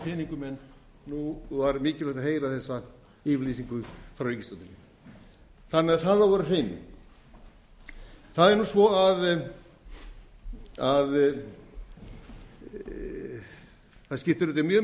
peningum en nú var mikilvægt að gera þessa yfirlýsingu frá ríkisstjórninni þannig að það á að vera á hreinu það er nú svo að það skiptir auðvitað mjög